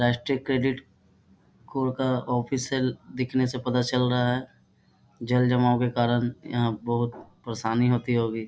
राष्ट्रीय credit core का office है देखने से पता चल रहा है जल जमाव के कारण यहाँ बहुत परेशानी होती होगी। होगी।